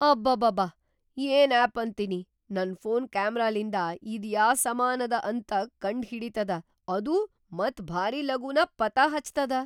ಅಬಾಬಾಬಾ, ಏನ್‌ ಆಪ್‌ ಅಂತೀನಿ ನನ್‌ ಫೋನ್‌ ಕ್ಯಾಮರಾಲಿಂದ ಇದ್‌ ಯಾ ಸಾಮಾನದ ಅಂತ ಕಂಡ್‌ ಹಿಡೀತದ ಅದೂ ಮತ್‌ ಭಾರಿ ಲಗೂನ ಪತಾ‌ ಹಚ್ತದ.